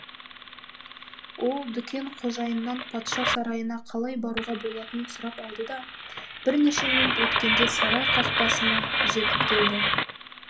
ол дүкен қожайынынан патша сарайына қалай баруға болатынын сұрап алды да бірнеше минут өткенде сарай қақпасына жетіп келді